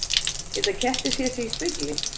Geta kettir séð sig í spegli?